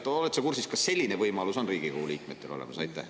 Oled sa kursis, kas selline võimalus on Riigikogu liikmetel olemas?